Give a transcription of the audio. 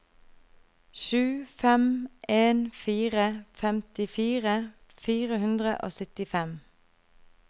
sju fem en fire femtifire fire hundre og syttifem